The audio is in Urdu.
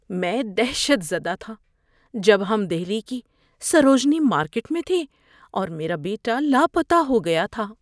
میں دہشت زدہ تھا جب ہم دہلی کی سروجنی مارکیٹ میں تھے اور میرا بیٹا لاپتہ ہو گیا تھا۔